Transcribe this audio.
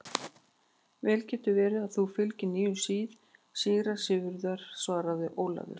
Vel getur verið að þú fylgir nýjum sið, síra Sigurður, svaraði Ólafur.